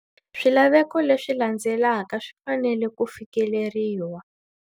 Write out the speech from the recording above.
Swilaveko leswi landzelaka swi fanele ku fikeleriwa.